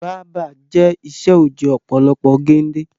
Báábà jẹ ìṣe òojọ́ ọ̀pọ̀lọpọ̀ gende